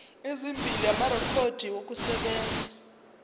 ezimbili amarekhodi okusebenza